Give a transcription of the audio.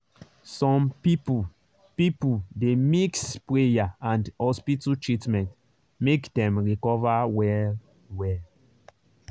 some people people dey mix prayer and hospital treatment make dem recover well-well.